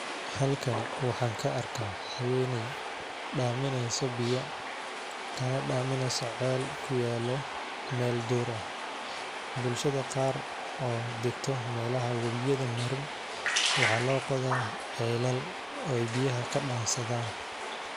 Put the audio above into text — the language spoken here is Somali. Halkani waxaan ka arkaa xawene dhaamino soo biyo kana dhaaminayo ceel ku yaalo meel dura. Bulshada qaar oo degto meelaha wubiyada marin waxaa loo qoodaa ceeylal oo biyaha ka dhansadaan.